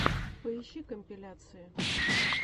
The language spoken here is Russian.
поищи компиляции